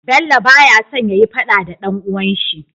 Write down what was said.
Bello baya son yayi faɗa da dan uwan shi